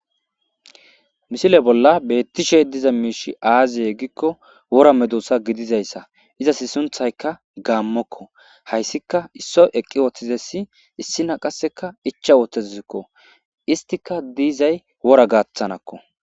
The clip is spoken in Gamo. Misile bolla betishe diza mishe aze giko wora medosa gidizaysa izasi sunthayka gamoko haysika issoy eqi uttidesi issiniya icha uttadusi istika dizay wora gathaniko